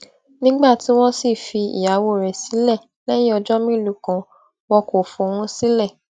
nígbà tí wọn sì fi ìyàwó rẹ sílẹ lẹyìn ọjọ mélòó kan wọn kò fóun sílẹ